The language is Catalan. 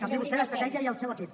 canviï vostè d’estratègia i el seu equip